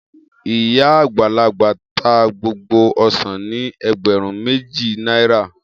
Iya agbalagba ta gbogbo osan ni egberun meji naira.